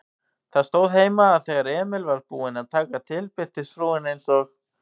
Það stóð heima, að þegar Emil var búinn að taka til birtist frúin eins og